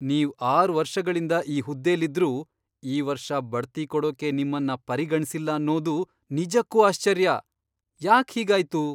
ನೀವ್ ಆರ್ ವರ್ಷಗಳಿಂದ ಈ ಹುದ್ದೆಲಿದ್ರೂ, ಈ ವರ್ಷ ಬಡ್ತಿ ಕೊಡೋಕೆ ನಿಮ್ಮನ್ನ ಪರಿಗಣ್ಸಿಲ್ಲ ಅನ್ನೋದು ನಿಜಕ್ಕೂ ಆಶ್ಚರ್ಯ, ಯಾಕ್ ಹೀಗಾಯ್ತು?!